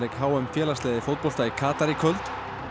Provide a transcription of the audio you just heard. h m félagsliða í fótbolta í Katar í kvöld